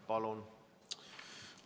Palun!